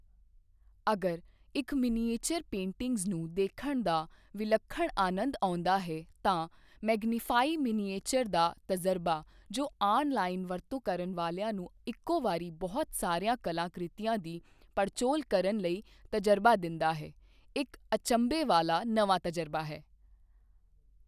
ਅਗਰ ਇੱਕ miniature paintings ਨੂੰ ਦੇਖਣ ਦਾ ਵਿਲੱਖਣ ਅਨੰਦ ਆਉਂਦਾ ਹੈ ਤਾਂ ਮੈਗਨੀਫਾਈ ਮਿਨੀਏਚਰ ਦਾ ਤਜ਼ਰਬਾ ਜੋ ਆਨ ਲਾਈਨ ਵਰਤੋਂ ਕਰਨ ਵਾਲਿਆਂ ਨੂੰ ਇਕੋ ਵਾਰੀ ਬਹੁਤ ਸਾਰੀਆਂ ਕਲਾ ਕ੍ਰਿਤੀਆਂ ਦੀ ਪੜਚੋਲ ਕਰਨ ਲਈ ਤਜਰਬਾ ਦਿੰਦਾ ਹੈ ਇੱਕ ਅਚੰਭੇ ਵਾਲਾ ਨਵਾਂ ਤਜਰਬਾ ਹੈ।